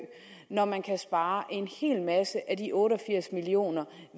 når man kan spare en hel masse af de otte og firs million